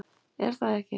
Er það ekki